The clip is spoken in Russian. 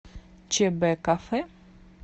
чбкафе